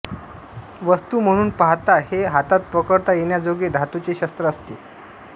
वस्तू म्हणून पाहता हे हातात पकडता येण्याजोगे धातूचे शस्त्र असते